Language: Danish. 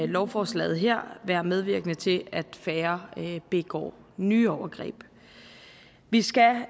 lovforslaget her være medvirkende til at færre begår nye overgreb vi skal